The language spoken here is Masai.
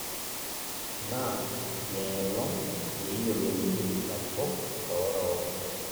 Na neelong' peeyiolouni ilarikok orook